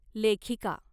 लेखिका